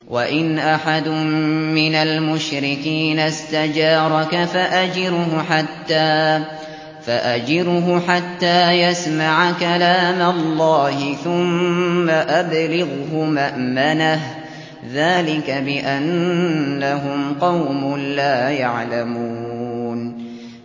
وَإِنْ أَحَدٌ مِّنَ الْمُشْرِكِينَ اسْتَجَارَكَ فَأَجِرْهُ حَتَّىٰ يَسْمَعَ كَلَامَ اللَّهِ ثُمَّ أَبْلِغْهُ مَأْمَنَهُ ۚ ذَٰلِكَ بِأَنَّهُمْ قَوْمٌ لَّا يَعْلَمُونَ